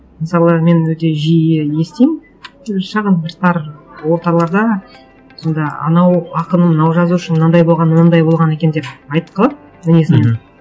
мысалы мен өте жиі естимін шағын бір тар орталарда сонда анау ақын мынау жазушы мынандай болған мынандай болған екен деп айтып қалады мінезін мхм